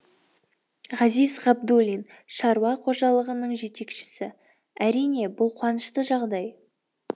ғазиз ғабдуллин шаруа қожалығының жетекшісі әрине бұл қуанышты жағдай